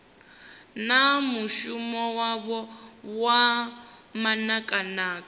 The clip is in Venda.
na mushumo wavho wa manakanaka